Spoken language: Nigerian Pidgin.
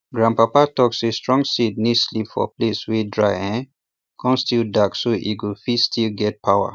grandpapa talk say strong seed need sleep for place wey dry um come still dark so e go fit still get power